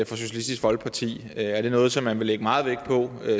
for socialistisk folkeparti er er det noget som man vil lægge meget vægt på